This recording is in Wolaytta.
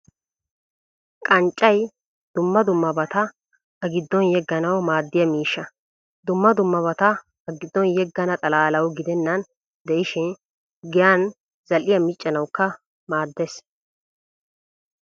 Qanccay dumma dummabata A giddon yegganwu maaddiya miishsha. Dumma dummabata A giddon yeggana xalaalawu gidennan de'ishin giyaan zal'iyaa miccanawukka maaddees.